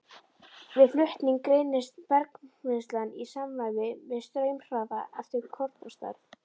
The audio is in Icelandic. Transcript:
Við flutning greinist bergmylsnan í samræmi við straumhraða eftir kornastærð.